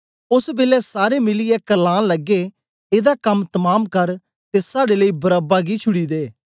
ओस बेलै सारे मिलिऐ कर्लान लगे एदा कम तमाम कर ते साड़े लेई बरअब्बा गी छुड़ी दे